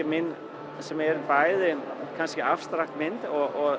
mín sem bæði kannski abstrakt mynd og